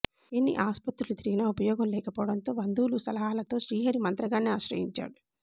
ఎన్ని ఆస్పత్రులు తిగిరినా ఉపయోగం లేకపోవడంతో బంధువులు సలహాలతో శ్రీహరి మంత్రగాడిని ఆశ్రయించాడు